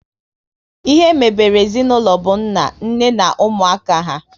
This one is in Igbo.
Ihe mebere ezinaụlọ bụ nna, nne na ụmụaka há